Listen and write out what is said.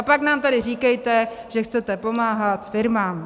A pak nám tady říkejte, že chcete pomáhat firmám.